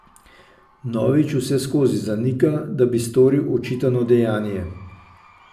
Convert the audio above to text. Novič vseskozi zanika, da bi storil očitano dejanje.